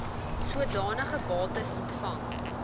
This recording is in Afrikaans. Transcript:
sodanige bates ontvang